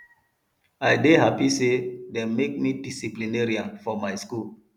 i dey happy say dey make me disciplinarian for my school